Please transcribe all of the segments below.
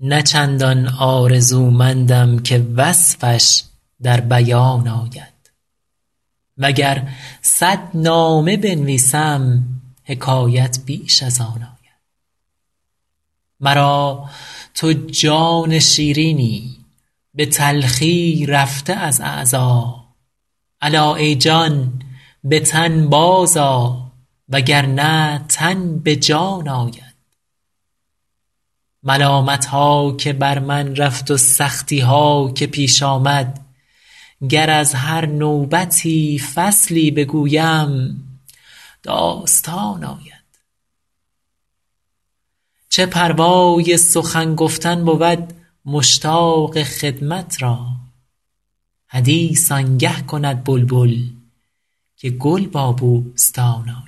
نه چندان آرزومندم که وصفش در بیان آید و گر صد نامه بنویسم حکایت بیش از آن آید مرا تو جان شیرینی به تلخی رفته از اعضا الا ای جان به تن بازآ و گر نه تن به جان آید ملامت ها که بر من رفت و سختی ها که پیش آمد گر از هر نوبتی فصلی بگویم داستان آید چه پروای سخن گفتن بود مشتاق خدمت را حدیث آن گه کند بلبل که گل با بوستان آید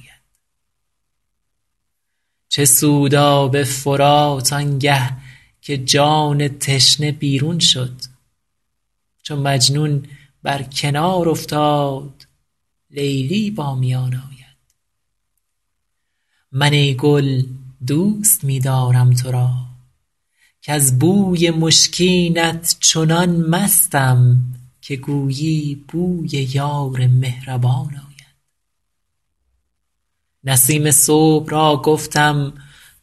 چه سود آب فرات آن گه که جان تشنه بیرون شد چو مجنون بر کنار افتاد لیلی با میان آید من ای گل دوست می دارم تو را کز بوی مشکینت چنان مستم که گویی بوی یار مهربان آید نسیم صبح را گفتم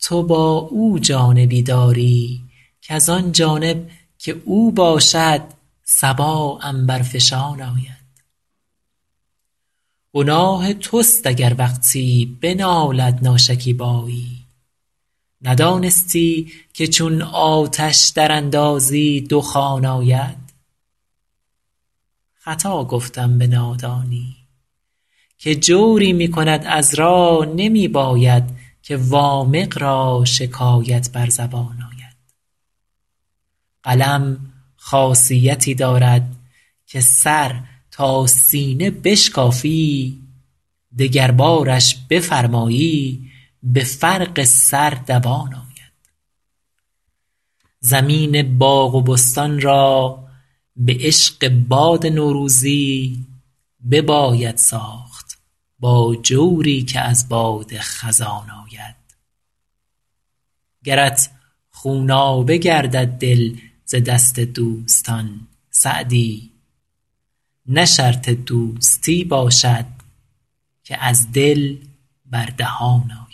تو با او جانبی داری کز آن جانب که او باشد صبا عنبرفشان آید گناه توست اگر وقتی بنالد ناشکیبایی ندانستی که چون آتش دراندازی دخان آید خطا گفتم به نادانی که جوری می کند عذرا نمی باید که وامق را شکایت بر زبان آید قلم خاصیتی دارد که سر تا سینه بشکافی دگربارش بفرمایی به فرق سر دوان آید زمین باغ و بستان را به عشق باد نوروزی بباید ساخت با جوری که از باد خزان آید گرت خونابه گردد دل ز دست دوستان سعدی نه شرط دوستی باشد که از دل بر دهان آید